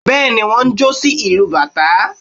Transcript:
bẹ́ẹ̀ni wọ́n jó sí ìlú bátà